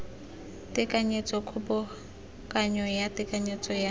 tekanyetso kgobokanyo ya tekanyetso ya